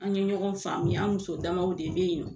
An ye ɲɔgɔn faamuya, an muso damaw de bɛ yen nɔ.